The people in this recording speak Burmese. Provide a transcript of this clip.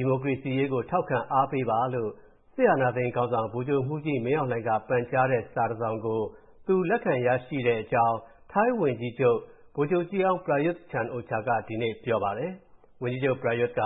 ီမိုကရေစီရေးကို ထောက်ခံအားပေးပါလို့ စစ်အာဏာသိမ်းခေါင်းဆောင် ဗိုလ်ချုပ်မှူးကြီးမင်းအောင်လှိုင်က ပန်ကြားထားတဲ့ စာတစ်စောင်ကို သူ လက်ခံရရှိခဲ့တဲ့အကြောင်း ထိုင်းဝန်ကြီးချုပ်၊ ဗိုလ်ချုပ်ကြီးဟောင်း ပရာယုသ် ချန်-အိုချာက ဒီကနေ့ပြောပါတယ်။ ဝန်ကြီးချုပ် ပရာယုသ်က